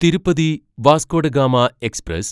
Tirupati Vasco da Gama express